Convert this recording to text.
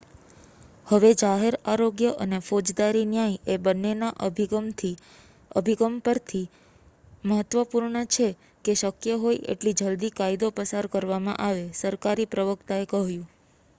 """હવે જાહેર આરોગ્ય અને ફોજદારી ન્યાય એ બન્નેના અભિગમ પરથી મહત્ત્વપૂર્ણ છે કે શક્ય હોય એટલી જલદી કાયદો પસાર કરવામાં આવે," સરકારી પ્રવક્તાએ કહ્યું.